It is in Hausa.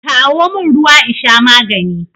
Kawo min ruwa in sha magani